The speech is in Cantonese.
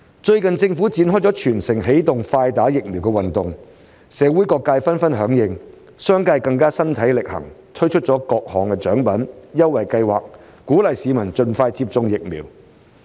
最近政府展開"全城起動快打疫苗"運動，社會各界紛紛響應，商界更加身體力行，推出各種獎品、優惠計劃，鼓勵市民盡快接種疫苗。